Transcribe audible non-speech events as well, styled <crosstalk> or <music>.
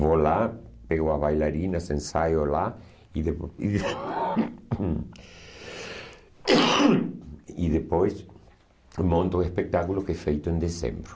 Vou lá, pego as bailarinas, ensaio lá e depois... e <coughs> E depois monto o espetáculo que é feito em dezembro.